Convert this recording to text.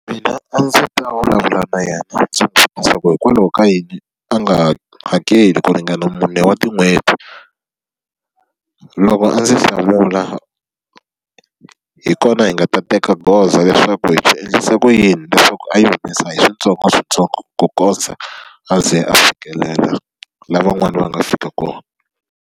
Mina a ndzi ta vulavula na yena ndzi n'wi vutisa ku hikwalaho ka yini a nga hakeli ku ringana mune wa tin'hweti? Loko a ndzi hlamula, hi kona hi nga ta teka goza leswaku hi swi endlise ku yini leswaku a yi humesa hi switsongoswintsongo ku kondza a ze a fikelela laha van'wana va nga fika kona.